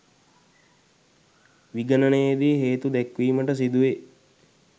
විගණනයේදී හේතු දැක්වීමට සිදුවේ